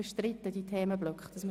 Ist dieses Vorgehen bestritten?